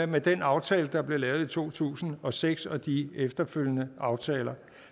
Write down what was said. med den aftale der blev lavet i to tusind og seks og de efterfølgende aftaler